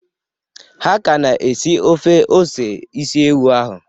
Ha ka na-esi ofe ose isi ewu ahụ.